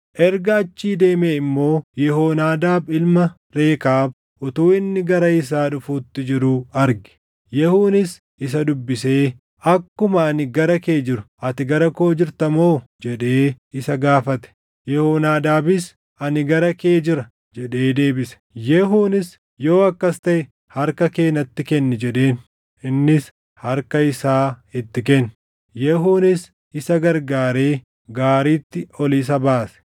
Erga achii deemee immoo Yehoonaadaab ilma Rekaab utuu inni gara isaa dhufuutti jiruu arge. Yehuunis isa dubbisee, “Akkuma ani gara kee jiru ati gara koo jirta moo?” jedhee isa gaafate. Yehoonaadaabis, “Ani gara kee jira” jedhee deebise. Yehuunis, “Yoo akkas taʼe harka kee natti kenni” jedheen. Innis harka isaa itti kenne. Yehuunis isa gargaaree gaariitti ol isa baase.